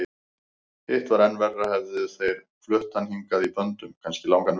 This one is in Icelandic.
Hitt var enn verra, hefðu þeir flutt hann hingað í böndum, kannski langan veg.